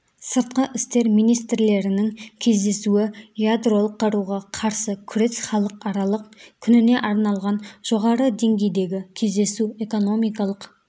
сыртқы істер министрлерінің кездесуі ядролық қаруға қарсы күрес халықаралық күніне арналған жоғары деңгейдегі кездесу экономикалық